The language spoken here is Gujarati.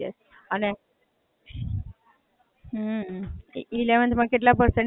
elevnth માં કેટલા percent આયા એને?